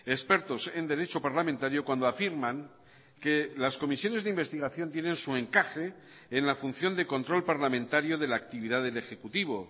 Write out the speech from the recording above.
expertos en derecho parlamentario cuando afirman que las comisiones de investigación tienen su encaje en la función de control parlamentario de la actividad del ejecutivo